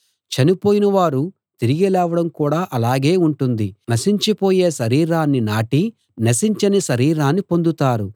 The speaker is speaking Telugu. చనిపోయిన వారు తిరిగి లేవడం కూడా అలాగే ఉంటుంది నశించిపోయే శరీరాన్ని నాటి నశించని శరీరాన్ని పొందుతారు